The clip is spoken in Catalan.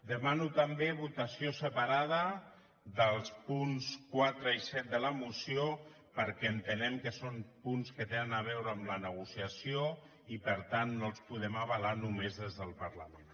demano també votació separada dels punts quatre i set de la moció perquè entenem que són punts que tenen a veure amb la negociació i per tant no els podem avalar només des del parlament